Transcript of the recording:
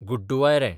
गुड्डूवायरें